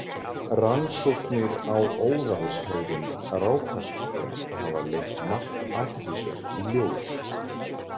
Rannsóknir á óðalshegðun rákaskunka hafa leitt margt athyglisvert í ljós.